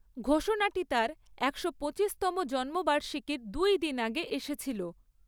ঘোষণাটি তার একশো পঁচিশতম জন্মবার্ষিকীর দুই দিন আগে এসেছিল।